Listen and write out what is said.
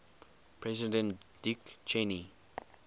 president dick cheney